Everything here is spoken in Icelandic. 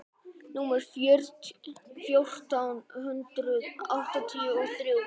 númer fjórtán hundruð áttatíu og þrjú.